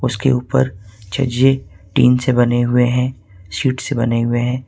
उसके ऊपर छज्जे टीन से बने हुए हैं शीट से बने हुए हैं।